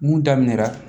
Mun daminɛra